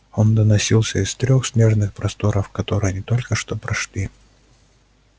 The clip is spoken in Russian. он доносился из трёх снежных просторов которые они только что прошли